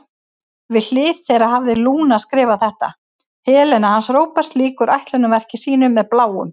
Við hlið þeirra hafði Lúna skrifað þetta: Helena hans Róberts lýkur ætlunarverki sínu með Bláum.